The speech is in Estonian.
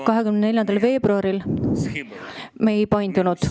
24. veebruaril me ei murdunud.